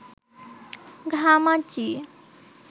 ঘামাচি